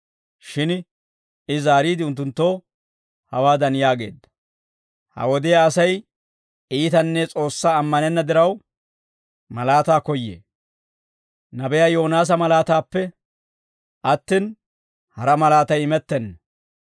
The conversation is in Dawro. Shin I zaariide, unttunttoo hawaadan yaageedda; «Ha wodiyaa Asay iitanne S'oossaa ammanenna diraw, malaataa koyyee; nabiyaa Yoonaasa malaataappe attin, hara malaatay imettenna.